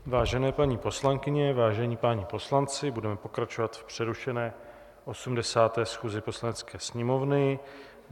Vážené paní poslankyně, vážení páni poslanci, budeme pokračovat v přerušené 80. schůzi Poslanecké sněmovny.